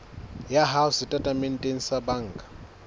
ya hao setatementeng sa banka